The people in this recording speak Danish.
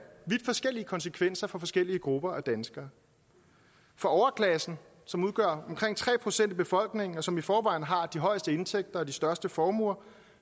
vidt forskellige konsekvenser for forskellige grupper af danskere for overklassen som udgør omkring tre procent af befolkningen og som i forvejen har de højeste indtægter og de største formuer